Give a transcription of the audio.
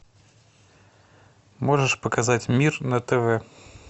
можешь показать мир на тв